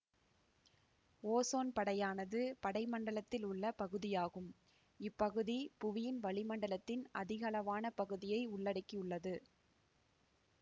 ozone படையானது படைமண்டலத்தில் உள்ள பகுதியாகும் இப்பகுதி புவியின் வளிமண்டலத்தின் அதிகளவான பகுதியை உள்ளடக்கி உள்ளது